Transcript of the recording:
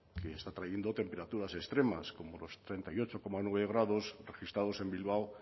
que está trayendo temperaturas extremas como los treinta y ocho coma nueve grados registrados en bilbao